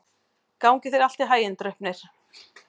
Gangi þér allt í haginn, Draupnir.